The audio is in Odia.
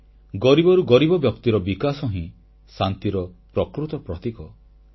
ଦେଖିବାକୁ ଗଲେ ଗରିବରୁ ଗରିବ ବ୍ୟକ୍ତିର ବିକାଶ ହିଁ ଶାନ୍ତିର ପ୍ରକୃତ ପ୍ରତୀକ